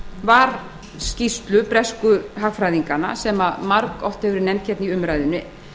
var skýrslu bresku hagfræðinganna sem margoft hefur verið nefnd í umræðunni